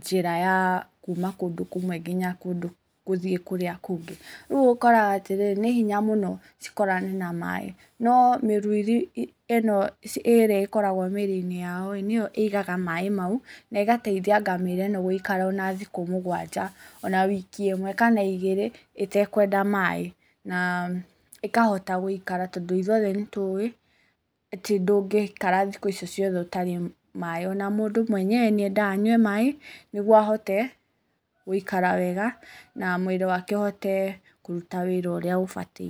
njĩra ya kuma kũndũ kũmwe nginya gũthiĩ kũrĩa kũngĩ. Rĩu ũkoraga atĩrĩrĩ, nĩ hinya mũno cikorane na maaĩ, no mĩruiri ĩno ĩrĩa ĩkoragwo mĩĩrĩ-inĩ yaoĩ, nĩyo igaga maaĩ mau, na ĩgataithia ngamĩra ĩno gũikara ona thikũ mũgwanja, ona wiki ĩmwe kana igĩrĩ, ĩtekwenda maaĩ, na ĩkahota gũikara tondũ ithuothe nĩtũĩ, atĩ ndũngĩikara thikũ icio ciothe ũtarĩ maaĩ, ona mũndũ mwenyewe nĩ endaga anyue maaĩ, nĩguo ahote gũikara wega, na mwĩrĩ wake ũhote kũruta wĩra ũrĩa ũbatiĩ.